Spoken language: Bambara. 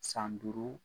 San duuru